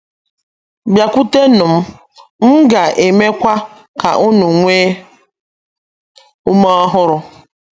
“ Bịakwutenụ M,... M Ga - emekwa Ka Unu Nwee Ume Ọhụrụ ”